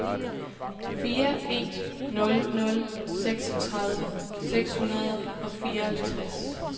fire en nul nul seksogtredive seks hundrede og fireoghalvtreds